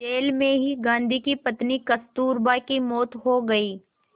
jail में ही गांधी की पत्नी कस्तूरबा की मौत हो गई